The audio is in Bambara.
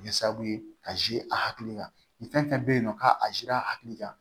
Kɛ sababu ye ka a hakili kan nin fɛn fɛn bɛ yen nɔ k'a a hakili kan